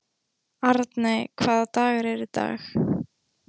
Arney, hvaða dagur er í dag?